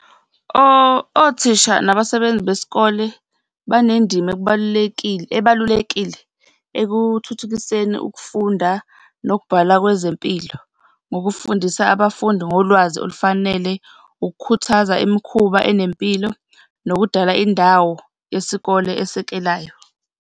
Othisha nabasebenzi besikole banendima ekubalulekile, ebalulekile ekuthuthukiseni ukufunda nokubhala kwezempilo, ngokufundisa abafundi ngolwazi olufanele, ukukhuthaza imikhuba enempilo, nokudala indawo yesikole esekelayo.